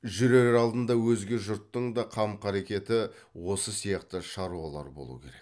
жүрер алдында өзге жұрттың да қам қарекеті осы сияқты шаруалар болу керек